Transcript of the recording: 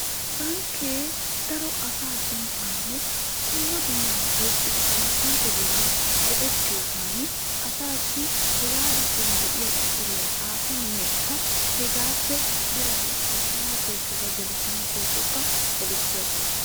bankke daro asaa suntaanne dumma dummabaa oyqqida komppiteriya go'ettiyoogan Asaassi hegaa giddon de'iya quxxuriya xaafinnekka hegaappe biraa ekkanawu koyikkokka gelisanawu koyikkokka gelissi agoosona.